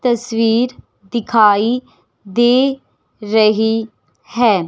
तस्वीर दिखाई दे रही है।